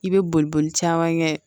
I bɛ boli boli caman kɛ